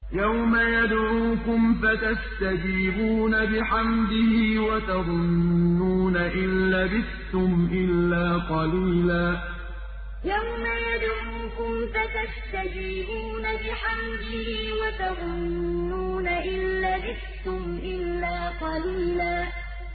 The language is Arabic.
يَوْمَ يَدْعُوكُمْ فَتَسْتَجِيبُونَ بِحَمْدِهِ وَتَظُنُّونَ إِن لَّبِثْتُمْ إِلَّا قَلِيلًا يَوْمَ يَدْعُوكُمْ فَتَسْتَجِيبُونَ بِحَمْدِهِ وَتَظُنُّونَ إِن لَّبِثْتُمْ إِلَّا قَلِيلًا